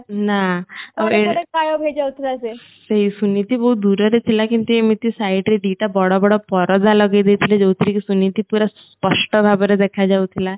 କୁଆଡେ କୁଆଡେ ଗାଏଭ ହେଇ ଯାଉଥିଲା ସେ ସେଇସୁନିତି ବହୁତ ଦୂରରେ ଥିଲା କିନ୍ତୁ ଏମିତି site ରେ ଦିଟା ବଡବଡ ପରଦା ଲଗେଇ ଦେଇଥିଲେ ଯୋଉଥିରେ କି ସୁନିତି ପୁରା ସ୍ପଷ୍ଟ ଭାବରେ ଦେଖା ଯାଉଥିଲା